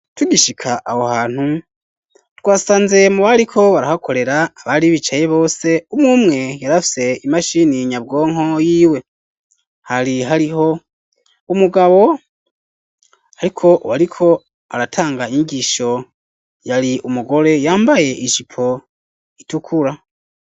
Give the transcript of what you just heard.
Tugishika aho hantu, twasanze mu bariko barahakorera abari bicaye bose, umwe umwe yari afise imashini nyabwonko yiwe; hari hariho umugabo, ariko uwariko aratanga inyigisho yari umugore yambaye ijipo itukura.